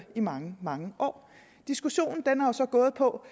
i mange mange år diskussionen har så gået på